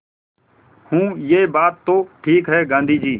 हूँ यह बात तो ठीक है गाँधी जी